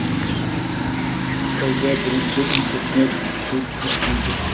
Xitoyda birinchi internet-sud ochildi.